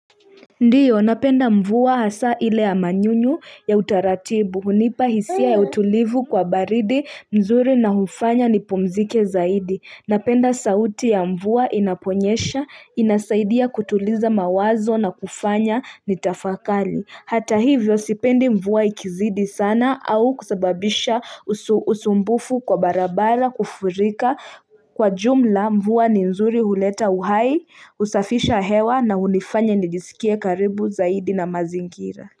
Ndiyo, napenda mvua hasa ile ya manyunyu ya utaratibu, hunipa hisia ya utulivu kwa baridi, nzuri na hufanya nipumzike zaidi. Napenda sauti ya mvua inaponyesha, inasaidia kutuliza mawazo na kufanya nitafakali. Hata hivyo sipendi mvua ikizidi sana au kusababisha usumbufu kwa barabara kufurika kwa jumla mvua ni nzuri huleta uhai, husafisha hewa na hunifanya nijisikie karibu zaidi na mazingira.